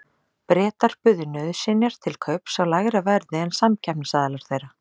Bretar buðu nauðsynjar til kaups á lægra verði en samkeppnisaðilar þeirra.